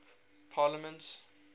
parliaments